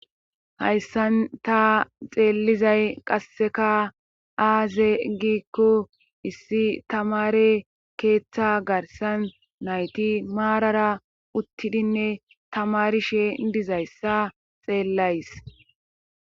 hayssan ta xeellizay qasseka aaze giikko issi tamare keeththa garsan nayti maarara uttidinne tamari shee dizayssa xeellays